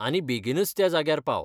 आनी बेगीनच त्या जाग्यार पाव.